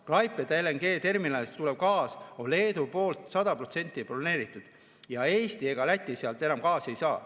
Klaipeda LNG-terminalist tulev gaas on Leedu poolt 100% broneeritud ja Eesti ega Läti sealt enam gaasi ei saa.